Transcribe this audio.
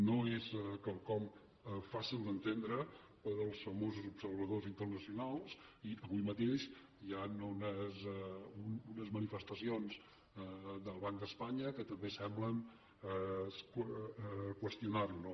no és quelcom fàcil d’entendre pels famosos observadors internacionals i avui mateix hi han unes manifestacions del banc d’espanya que també semblen qüestionar ho